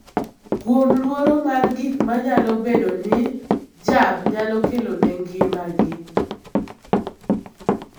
kuom luoro mar gik ma nyalo bedo ni jab nyalo kelo ne ngimagi.